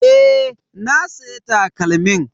Eh, na siya takalmin.